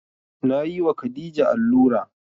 Na yi wa khadija allura